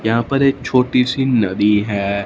यहां पर एक छोटी सी नदी है।